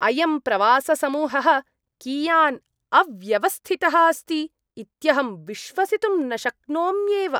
अयं प्रवाससमूहः कियान् अव्यवस्थितः अस्ति इत्यहं विश्वसितुं न शक्नोम्येव।